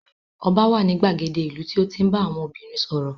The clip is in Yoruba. Ọba wà ní ìgbàgede ìlú tí ó ń tí ń bá àwọn obìnrin sọ̀rọ̀